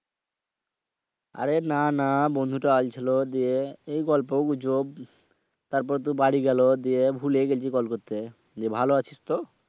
আরে না না বন্ধুটা আইছিল যে, এই গল্প গুজব তারপর তো বাড়ি গেলা দিয়ে ভূলেই গেছি call করতে। যে ভালো আছিসতো?